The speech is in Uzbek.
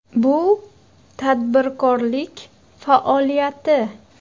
Bu tadbirkorlik faoliyati.